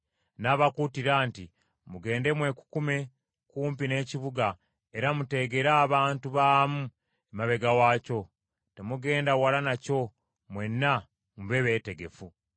N’abakuutira nti, “Mugende mwekukume kumpi n’ekibuga era muteegere abantu baamu emabega waakyo. Temugenda wala nakyo mwenna mube beetegefu.